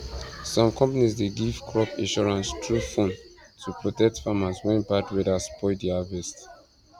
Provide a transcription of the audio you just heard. some companies dey give crop insurance through phone to protect farmers when bad weather spoil their harvest